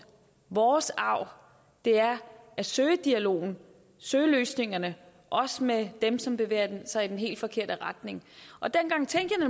vores arv er at søge dialogen søge løsningerne også med dem som bevæger sig i den helt forkerte retning dengang tænkte